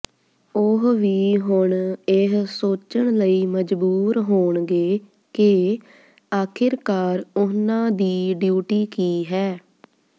ਉਹ ਵੀ ਹੁਣ ਇਹ ਸੋਚਣ ਲਈ ਮਜਬੂਰ ਹੋਣਗੇ ਕਿ ਆਖਿਰਕਾਰ ਉਹਨਾਂ ਦੀ ਡਿਊਟੀ ਕੀ ਹੈ